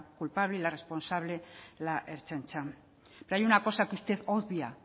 culpable y la responsable la ertzaintza pero hay una cosa que usted obvia